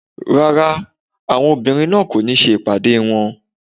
Rárá àwọn obìnrin kò ní ṣe ìpàdé wọ́n.